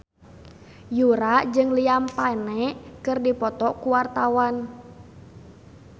Yura jeung Liam Payne keur dipoto ku wartawan